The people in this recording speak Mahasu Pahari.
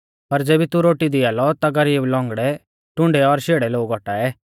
पर ज़ेबी तू रोटी दिया लौ ता गरीब लौंगड़ै टुण्डै और शेड़ै लोग औटाऐ